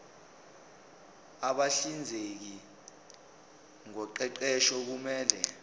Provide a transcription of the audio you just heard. abahlinzeki ngoqeqesho kumele